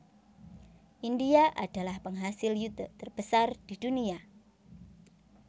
India adalah penghasil yute terbesar di dunia